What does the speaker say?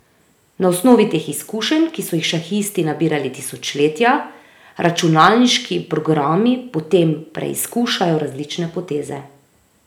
Na osnovi teh izkušenj, ki so jih šahisti nabirali tisočletja, računalniški programi potem preizkušajo različne poteze.